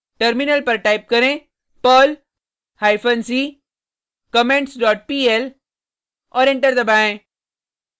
terminal पर type करें perl hyphen c comments dot pl और एंटर दबाएँ